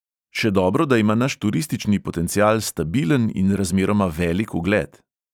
Še dobro, da ima naš turistični potencial stabilen in razmeroma velik ugled.